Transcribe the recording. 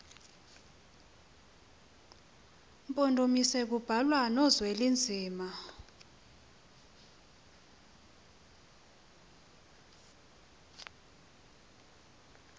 mpondomise kubalwa nozwelinzima